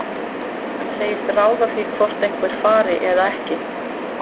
Hann segist ráða því hvort einhver fari eða ekki.